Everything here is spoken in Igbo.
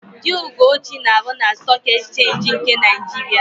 Di Ugochi na-arụ na Stọọk Ekchenji nke Naịjiria.